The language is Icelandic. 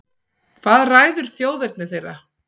Hvað ræður þjóðerni þeirra?